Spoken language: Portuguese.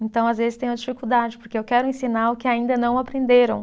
Então, às vezes tenho dificuldade, porque eu quero ensinar o que ainda não aprenderam.